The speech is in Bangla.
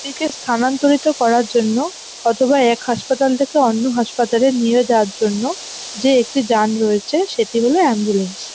রোগীকে স্থানান্তরিত করার জন্য অথবা এক হাসপাতাল থেকে অন্য হাসপাতালে নিয়ে যাওয়ার জন্য যে একটি যান রয়েছে সেটি হল অ্যাম্বুলেন্স ।